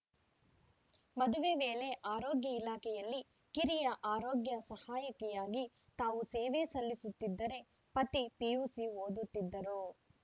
ಮದುವೆ ವೇಳೆ ಆರೋಗ್ಯ ಇಲಾಖೆಯಲ್ಲಿ ಕಿರಿಯ ಆರೋಗ್ಯ ಸಹಾಯಕಿಯಾಗಿ ತಾವು ಸೇವೆ ಸಲ್ಲಿಸುತ್ತಿದ್ದರೆ ಪತಿ ಪಿಯುಸಿ ಓದುತ್ತಿದ್ದರು